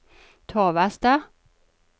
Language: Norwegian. Torvastad